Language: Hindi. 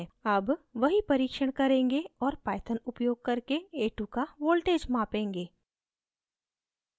a2 we परीक्षण करेंगे और python उपयोग करके a2 का voltage मापेंगे